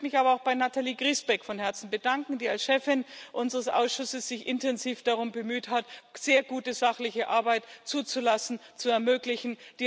Ich möchte mich aber auch bei Nathalie Griesbeck von Herzen bedanken, die sich als Chefin unseres Ausschusses intensiv darum bemüht hat, sehr gute sachliche Arbeit zuzulassen und zu ermöglichen.